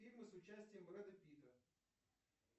фильмы с участием брэда питта